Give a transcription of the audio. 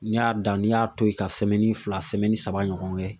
N'i y'a dan ni y'a to yen ka fila saba ɲɔgɔn kɛ